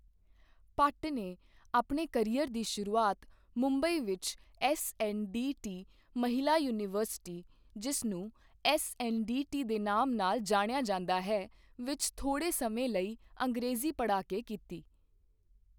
ਭੱਟ ਨੇ ਆਪਣੇ ਕਰੀਅਰ ਦੀ ਸ਼ੁਰੂਆਤ ਮੁੰਬਈ ਵਿੱਚ ਐੱਸਐੱਨਡੀਟੀ ਮਹਿਲਾ ਯੂਨੀਵਰਸਿਟੀ, ਜਿਸ ਨੂੰ ਐੱਸਐੱਨਡੀਟੀ ਦੇ ਨਾਮ ਨਾਲ ਜਾਣਿਆ ਜਾਂਦਾ ਹੈ, ਵਿੱਚ ਥੋੜ੍ਹੇ ਸਮੇਂ ਲਈ ਅੰਗਰੇਜ਼ੀ ਪੜ੍ਹਾ ਕੇ ਕੀਤੀ।